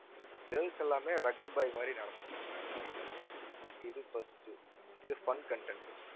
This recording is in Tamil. girls எல்லாமே rugged boy மாதிரி நடந்து வரணும் ramp walk ல. இது first உ இது fun content உ